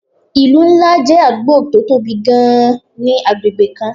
ìlú ńlá jẹ́ àdúgbò tó tóbi gan-an ni agbègbè kan